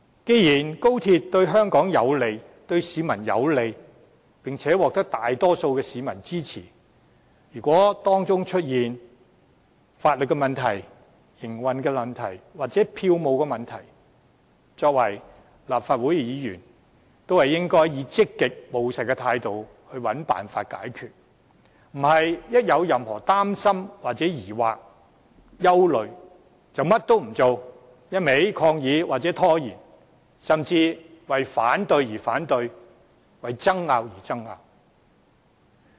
既然高鐵對香港和市民有利，並獲大多數市民支持，如果當中出現法律、營運或票務問題，作為立法會議員，我們應當以積極務實的態度尋求解決辦法，而非一旦感到任何擔心、疑惑或憂慮，便甚麼也不做，只管抗議或拖延，甚至為反對而反對、為爭拗而爭拗。